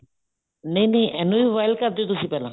ਨਹੀਂ ਨਹੀਂ ਇਹਨੂੰ ਵੀ boil ਕਰਦੇ ਹੋ ਤੁਸੀਂ ਪਹਿਲਾਂ